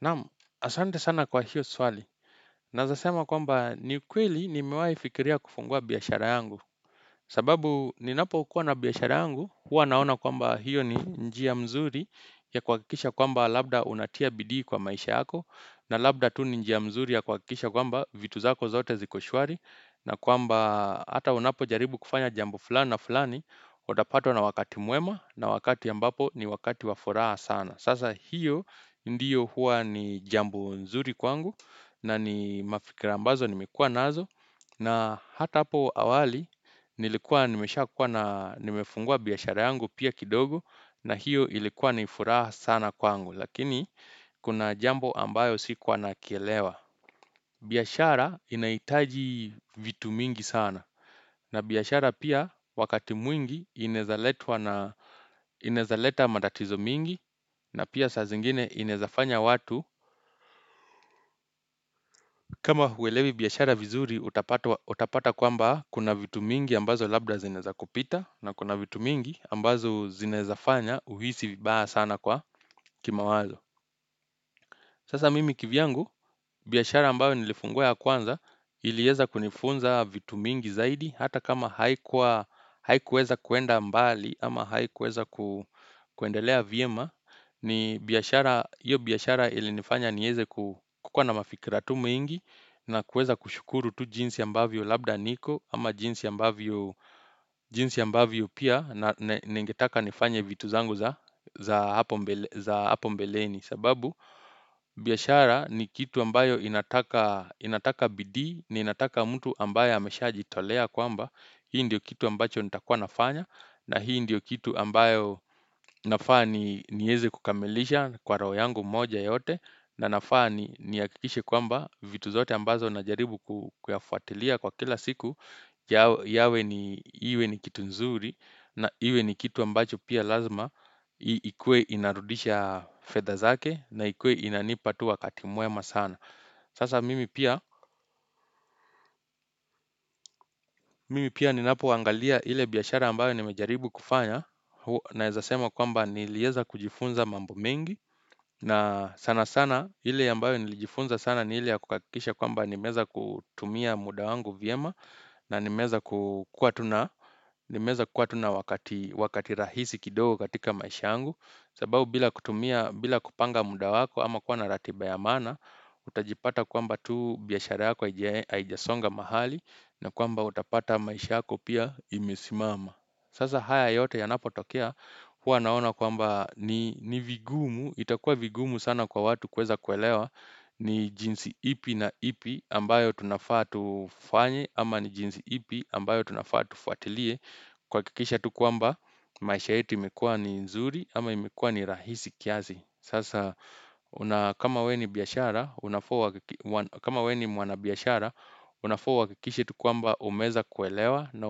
Naam ahsante sana kwa hiyo swali naweza sema kwamba ni kweli nimewahi fikiria kufungua biashara yangu sababu ninapokua na biashara yangu huwa naona kwamba hiyo ni njia mzuri ya kuhakikisha kwamba labda unatia bidii kwa maisha yako na labda tu ni njia mzuri ya kuhakikisha kwamba vitu zako zote ziko shwari na kwamba hata unapojaribu kufanya jambo fulani na fulani utapatwa na wakati mwema na wakati ambapo ni wakati wa furaha sana sasa hiyo ndiyo huwa ni jambo nzuri kwangu na ni mafikra ambazo nimekua nazo na hata hapo awali nilikuwa nimesha kuwa na nimefungua biashara yangu pia kidogo na hiyo ilikuwa ni furaha sana kwangu lakini kuna jambo ambayo sikuwa na kielewa biashara inahitaji vitu mingi sana na biashara pia wakati mwingi inaezaletwa na inaezaleta matatizo mingi na pia saa zingine inaeza fanya watu kama huelewi biashara vizuri utapatwa utapata kwamba kuna vitu mingi ambazo labda zinaeza kupita na kuna vitu mingi ambazo zinaezafanya uhisi vibaya sana kwa kimawazo sasa mimi kivyangu biashara ambayo nilifungua ya kwanza ilieza kunifunza vitu mingi zaidi hata kama haikuweza kuenda mbali ama haikuweza ku kuendelea vyema ni biashara iyo biashara ilinifanya nieze kuwa na mafikira tu mingi na kueza kushukuru tu jinsi ambavyo labda niko ama jinsi ambavyo jinsi ambavyo pia na nigetaka nifanya vitu zangu za hapo mbeleni sababu biashara ni kitu ambayo inataka bidii ni inataka mtu ambaye hamesha jitolea kwamba hii ndiyo kitu ambacho nitakua nafanya na hii ndiyo kitu ambayo nafaa nieze kukamilisha Kwa raho yangu moja yote na nafaa nihakikishe kwamba vitu zote ambazo najaribu kuyafatilia kwa kila siku yawe ni iwe ni kitu nzuri na iwe ni kitu ambacho pia lazima ikuwe inarudisha fedha zake na ikuwe inanipa tu wakati mwema sana sasa mimi pia ninapo angalia ile biashara ambayo nimejaribu kufanya na ezasema kwamba nilieza kujifunza mambo mengi na sana sana ile ambayo nilijifunza sana ni ile kuhakisha kwamba nimeza kutumia mudawangu vyema na nimeza kua tu nawakati rahisi kidogo katika maisha angu. Sabau bila kutumia bila kupanga muda wako ama kuwa na ratiba ya mana utajipata kwamba tu biashara yako aijasonga mahali na kwamba utapata maisha yako pia imesimama sasa haya yote yanapo tokea huwa naona kwamba ni vigumu itakua vigumu sana kwa watu kweza kwelewa ni jinsi ipi na ipi ambayo tunafaa tufanye ama ni jinsi ipi ambayo tunafaa tufuatilie kwakikisha tu kwamba maisha yetu imekua ni nzuri ama imekua ni rahisi kiasi sasa kama we ni biashara kama we ni mwana biashara unafuwa uwakikishe tu kwamba umeza kuelewa na